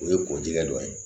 O ye kɔdikɛ dɔ ye